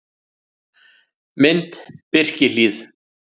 Mynd: Birkihlíð